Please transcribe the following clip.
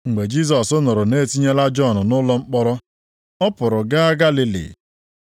Mgbe Jisọs nụrụ na e tinyela Jọn nʼụlọ mkpọrọ, ọ pụrụ gaa Galili.